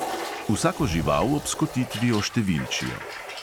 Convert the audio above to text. Vsako žival ob skotitvi oštevilčijo.